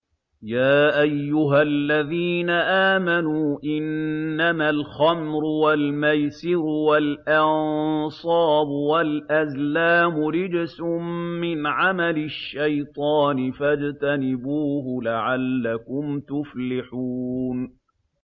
يَا أَيُّهَا الَّذِينَ آمَنُوا إِنَّمَا الْخَمْرُ وَالْمَيْسِرُ وَالْأَنصَابُ وَالْأَزْلَامُ رِجْسٌ مِّنْ عَمَلِ الشَّيْطَانِ فَاجْتَنِبُوهُ لَعَلَّكُمْ تُفْلِحُونَ